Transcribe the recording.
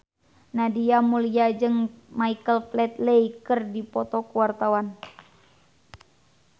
Nadia Mulya jeung Michael Flatley keur dipoto ku wartawan